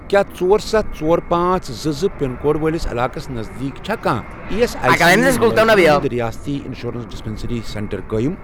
کیٛاہ ژور، ستھَ، ژور، پانژھ، زٕ، زٕ، پِن کوڈ وٲلِس علاقس نزدیٖک چھا کانٛہہ ایی ایس آٮٔۍ سی مُلٲزِمن ہُنٛد رِیٲستی اِنشورَنس ڈِسپیٚنٛسرٛی سینٹر قٲیم؟